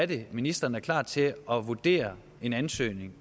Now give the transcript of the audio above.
det ministeren er klar til at vurdere en ansøgning